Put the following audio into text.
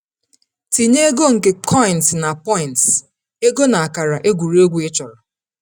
Tinye ego nke Coins na Points (ego na akara egwuregwu) ịchọrọ.